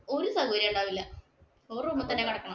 ഒരു സൗകര്യവും ഉണ്ടാവില്ല ഒരു room ഇൽ തന്നെ കിടക്കണം.